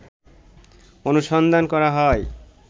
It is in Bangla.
অনুসন্ধান করা হয়